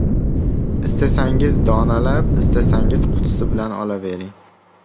Istasangiz donalab, istasangiz qutisi bilan olavering.